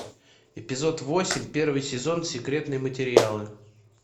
эпизод восемь первый сезон секретные материалы